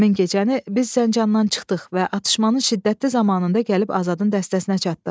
Həmin gecəni biz Zəncandan çıxdıq və atışmanın şiddətli zamanında gəlib Azadın dəstəsinə çatdıq.